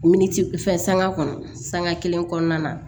Miniti fɛn sanga kɔnɔ sanŋa kelen kɔnɔna na